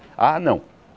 Ah, não.